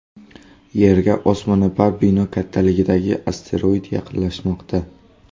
Yerga osmono‘par bino kattaligidagi asteroid yaqinlashmoqda.